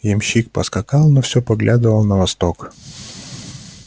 ямщик поскакал но все поглядывал на восток